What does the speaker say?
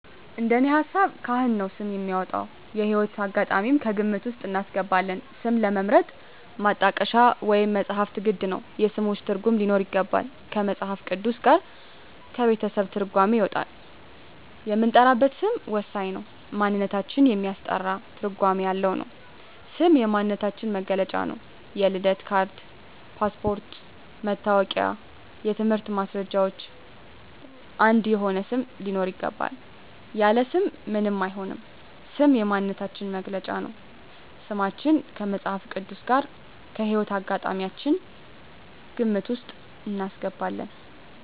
እንደኔ ሀሳብ ካህን ነው ስም የሚያወጣው። የህይወት አጋጣሚም ከግምት ውስጥ እናስገባለን ስምን ለመምረጥ ማጣቀሻ ወይም መፅሀፍት ግድ ነው የስሞችን ትርጉም ሊኖረው ይገባል ከመፅሀፍ ቅዱስ ጋር ከቤተሰብ ትርጓሜ ይወጣል የምንጠራበት ስም ወሳኝ ነው ማንነታችን የሚያስጠራ ትርጓሜ ያለው ነው ስም የማንነታችን መግለጫ ነው የልደት ካርድ ,ፓስፓርቶች ,መታወቂያ የትምህርት ማስረጃችን አንድ የሆነ ስም ሊኖረው ይገባል። ያለ ስም ምንም አይሆንም ስም የማንነታችን መገለጫ ነው። ስማችን ከመፅሀፍ ቅዱስ ጋር ከህይወት አጋጣሚያችን ግምት ውስጥ እናስገባለን